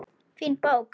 Fín bók.